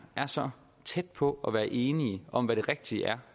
er så tæt på at være enige om hvad det rigtige er